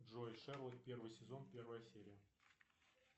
джой шерлок первый сезон первая серия